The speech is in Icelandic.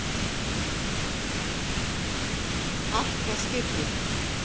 Allt var skipulagt.